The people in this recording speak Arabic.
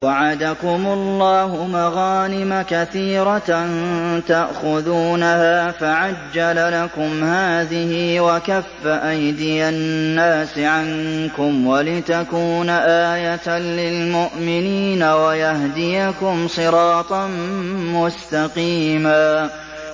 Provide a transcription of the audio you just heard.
وَعَدَكُمُ اللَّهُ مَغَانِمَ كَثِيرَةً تَأْخُذُونَهَا فَعَجَّلَ لَكُمْ هَٰذِهِ وَكَفَّ أَيْدِيَ النَّاسِ عَنكُمْ وَلِتَكُونَ آيَةً لِّلْمُؤْمِنِينَ وَيَهْدِيَكُمْ صِرَاطًا مُّسْتَقِيمًا